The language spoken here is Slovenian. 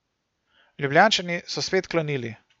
Ljubljančani so spet klonili.